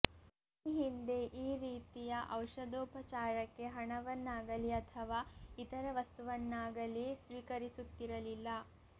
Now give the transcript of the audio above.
ಈ ಹಿಂದೆ ಈ ರೀತಿಯ ಔಷಧೋಪಚಾರಕ್ಕೆ ಹಣವನ್ನಾಗಲೀ ಅಥವಾ ಇತರ ವಸ್ತುವನ್ನಾಗಲೀ ಸ್ವೀಕರಿಸುತ್ತಿರಲಿಲ್ಲ